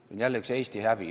See on jälle Eesti häbi.